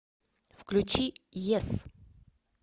включи йес